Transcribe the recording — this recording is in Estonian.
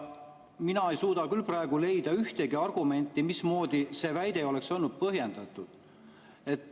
Mina ei suuda küll praegu leida ühtegi argumenti, mismoodi see väide oleks olnud põhjendatud.